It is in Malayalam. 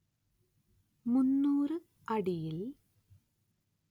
മുന്നൂറ്‌ അടിയിൽ